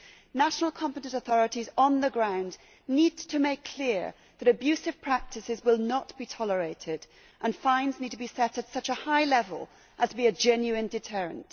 The competent national authorities on the ground need to make it clear that abusive practices will not be tolerated, and fines need to be set at such a high level as to be a genuine deterrent.